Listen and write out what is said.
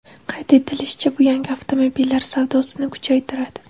Qayd etilishicha, bu yangi avtomobillar savdosini kuchaytiradi.